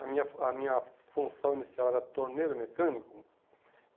A minha a minha função inicial era torneiro mecânico.